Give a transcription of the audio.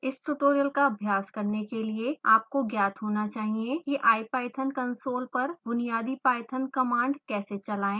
इस ट्यूटोरियल का अभ्यास करने के लिए आपको ज्ञात होना चाहिए कि